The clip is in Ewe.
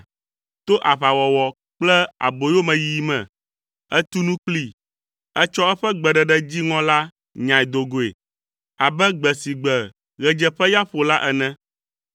To aʋawɔwɔ kple aboyomeyiyi me, ètu nu kplii, etsɔ eƒe gbeɖeɖe dziŋɔ la nyae do goe abe gbe si gbe ɣedzeƒeya ƒo la ene.